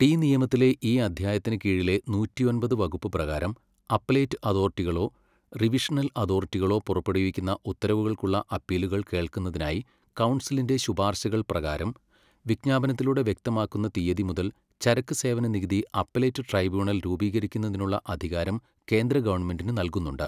T നിയമത്തിലെ ഈ അദ്ധ്യായത്തിന് കീഴിലെ നൂറ്റിയൊമ്പത് വകുപ്പ് പ്രകാരം അപ്പലേറ്റ് അതോറിറ്റികളോ റിവിഷണൽ അതോറിറ്റികളോ പുറപ്പെടുവിക്കുന്ന ഉത്തരവുകൾക്കുള്ള അപ്പീലുകൾ കേൾക്കുന്നതിനായി കൗൺസിലിൻ്റെ ശുപാർശകൾ പ്രകാരം, വിജ്ഞാപനത്തിലൂടെ വ്യക്തമാക്കുന്ന തീയ്യതി മുതൽ ചരക്ക് സേവന നികുതി അപ്പലേറ്റ് ട്രൈബ്യൂണൽ രൂപീകരിക്കുന്നതിനുള്ള അധികാരം കേന്ദ്ര ഗവണ്മെന്റിന് നല്കുന്നുണ്ട്.